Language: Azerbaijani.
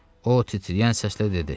O titrəyən səslə dedi: